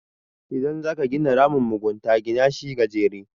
idan za ka gina ramin mugunta Gina shi gajere